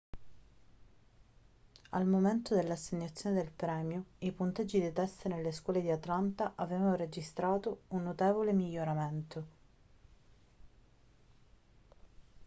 al momento dell'assegnazione del premio i punteggi dei test nelle scuole di atlanta avevano registrato un notevole miglioramento